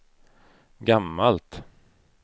gammalt